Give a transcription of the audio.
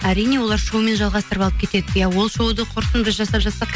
әрине олар шоумен жалғастырып алып кетеді иә ол шоуды құрсын біз жасап жатсақ